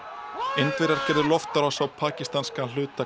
Indverjar gerðu loftárás á pakistanska hluta